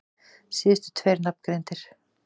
Síðustu tveir nafngreindir